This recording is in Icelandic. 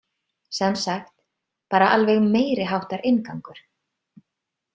Sem sagt, bara alveg meiriháttar inngangur!